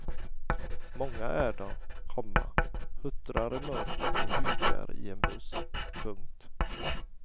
Många är de, komma huttrar i mörkret och hukar i en buss. punkt